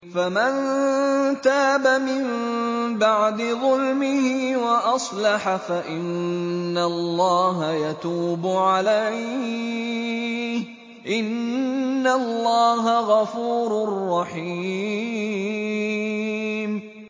فَمَن تَابَ مِن بَعْدِ ظُلْمِهِ وَأَصْلَحَ فَإِنَّ اللَّهَ يَتُوبُ عَلَيْهِ ۗ إِنَّ اللَّهَ غَفُورٌ رَّحِيمٌ